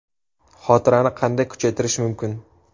Xotirani qanday kuchaytirish mumkin?.